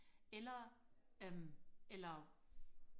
eller øhm eller